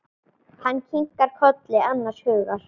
Hann kinkar kolli annars hugar.